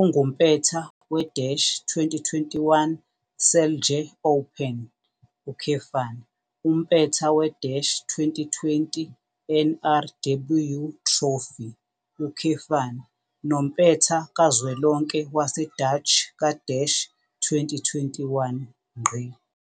Ungumpetha we-2021 Celje Open, umpetha we-2020 NRW Trophy, nompetha kazwelonke waseDutch ka-2021.